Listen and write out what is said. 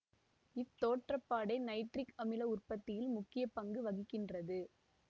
இத்தோற்றப்பாடே nitric அமில உற்பத்தியில் முக்கிய பங்கு வகிக்கின்றது